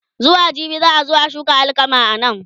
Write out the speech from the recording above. zuwa jibi za'a zo a shuka alkama anan